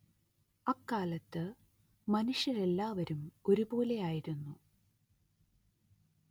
അക്കാലത്ത്‌ മനുഷ്യരെല്ലാവരും ഒരുപോലെയായിരുന്നു